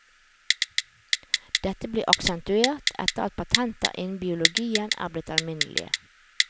Dette er blitt aksentuert etter at patenter innen biologien er blitt alminnelige.